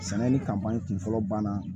Sɛnɛ ni kan kun fɔlɔ banna